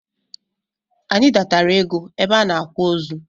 Anyị datara égo ebe a n'akwa ozu.